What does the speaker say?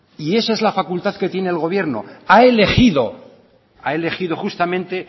y esa es la facultad que tiene el gobierno ha elegido justamente